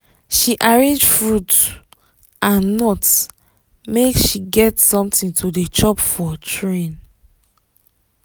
she arrange fruit and nut make she get something to dey chop for train.